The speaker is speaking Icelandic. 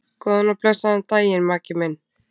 Góðan og blessaðan daginn, Maggi minn.